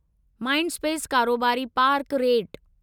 Mindspace कारोबारी park rate